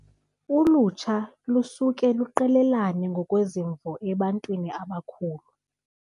Ulutsha lusuke luqelelane ngokwezimvo ebantwini abakhulu.